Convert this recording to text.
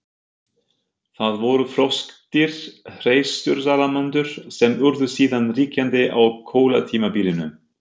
Það voru froskdýr, hreistursalamöndrur, sem urðu síðan ríkjandi á kolatímabilinu.